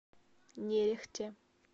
нерехте